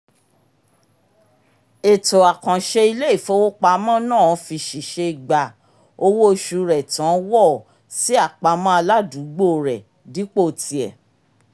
ètò àkánṣe ilé-ifowopamọ́ náà fi ṣìṣe gbà owó-oṣù rẹ̀ tán wọ̀ọ̀ sí àpamọ́ aládùúgbò rẹ̀ dípò ti e